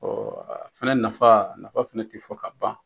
a fɛnɛ nafa, nafa fɛnɛ t'i fɔ ka ban